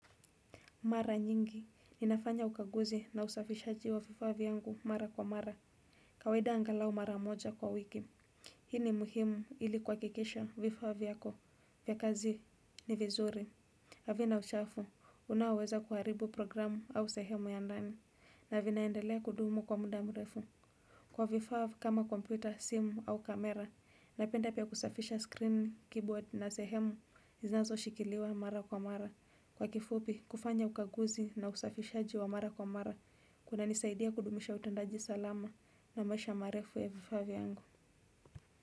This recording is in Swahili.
Mara nyingi ni nafanya ukaguzi na usafishaji wa vifaa vyangu mara kwa mara. Kawaida angalau mara moja kwa wiki. Hii ni muhimu ili kuhakikeisha vifaa vyako. Vyakazi ni vizuri. Havina uchafu unaoweza kuharibu programu au sehemu ya ndani na vinaendelea kudumu kwa muda mrefu. Kwa vifaa kama kompyuta, simu au kamera napenda pia kusafisha screen, keyboard na sehemu zinazo shikiliwa mara kwa mara. Kwa kifupi, kufanya ukaguzi na usafishaji wa mara kwa mara, kuna nisaidia kudumisha utendaji salama na maisha marefu ya vifaa vyangu.